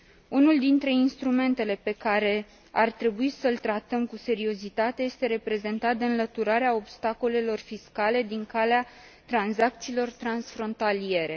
Unul dintre instrumentele pe care ar trebui să l tratăm cu seriozitate este reprezentat de înlăturarea obstacolelor fiscale din calea tranzacțiilor transfrontaliere.